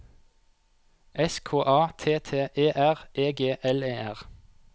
S K A T T E R E G L E R